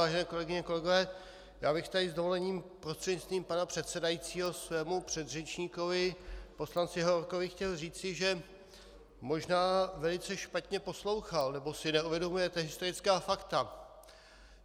Vážené kolegyně, kolegové, já bych tady s dovolením prostřednictvím pana předsedajícího svému předřečníkovi poslanci Hovorkovi chtěl říci, že možná velice špatně poslouchal, nebo si neuvědomujete historická fakta.